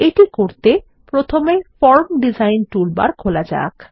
এটি করতে প্রথমে ফরম ডিজাইন টুলবার খোলা যাক